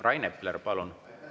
Rain Epler, palun!